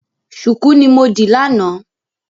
Ṣùkú ni mo dì lánàá.